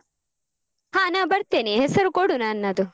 ಹ ನ ಬರ್ತೆನೆ ಹೆಸರು ಕೊಡು ನನ್ನದು.